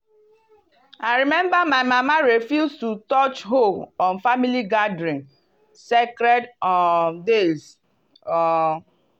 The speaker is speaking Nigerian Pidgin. i remember my mama refuse to touch hoe on family gathering sacred um days. um